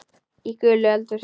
Í gulu eldhúsi